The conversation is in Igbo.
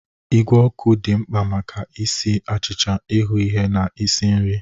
Igwe ọkụ dị mkpa maka ịsa achịcha, ịhu ihe na ịsi nri.